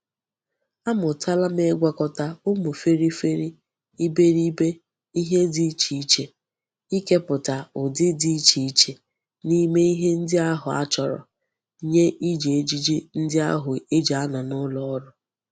Amutala m igwakota umu feri feri iberibe ihe di iche iche, ikeputa udidi di iche iche n'ime ihe ndi ahu a choro nye Iji ejiji ndi ahu e ji ano n'uloru.